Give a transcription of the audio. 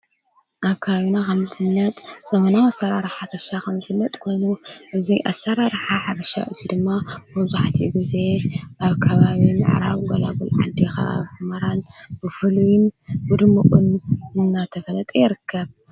ኣካዩና ኻምልትነጥ ዘመናዊ ሠራ ርሓ ርሻ ኸምልትነጥ ጐኑ እዙይ ኣሠራ ርኃ ሓርሻ እዙይ ድማ መዙኃቲ ጊዜ ኣብ ካባብን ዕራዊ ገላጕል ዓዲኻ ኣ መራን ብፍሉይን ብድምዑን እናተፈለጠ የርከብ።